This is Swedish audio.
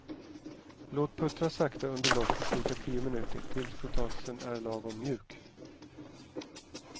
Låt puttra sakta under lock i cirka tio minuter tills potatisen är lagom mjuk.